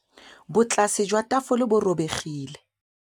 Botlasê jwa tafole bo robegile.